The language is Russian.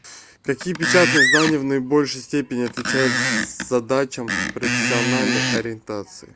какие печатные издания в наибольшей степени отвечают задачам профессиональной ориентации